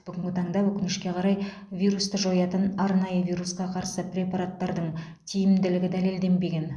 бүгінгі таңда өкінішке қарай вирусты жоятын арнайы вирусқа қарсы препараттардың тиімділігі дәлелденбеген